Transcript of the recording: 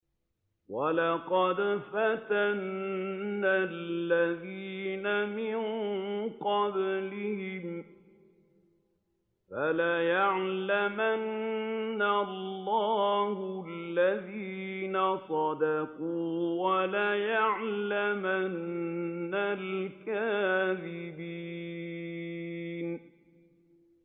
وَلَقَدْ فَتَنَّا الَّذِينَ مِن قَبْلِهِمْ ۖ فَلَيَعْلَمَنَّ اللَّهُ الَّذِينَ صَدَقُوا وَلَيَعْلَمَنَّ الْكَاذِبِينَ